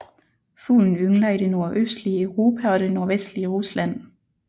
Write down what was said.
Fuglen yngler i det nordøstlige Europa og det nordvestlige Rusland